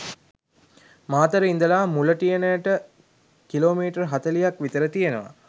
මාතර ඉදලා මුලටියනට කිලෝමීටර හතලිහක් විතර තියෙනවා